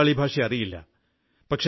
എനിക്കു ബംഗാളി ഭാഷ അറിയില്ല